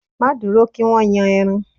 Má dúró kí wọ́n yan ẹran